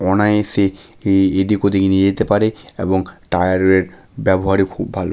অনায়াসে এ এদিক ওদিক নিয়ে যেতে পারে। এবং টায়ার -এর ব্যবহারে খুব ভালো ।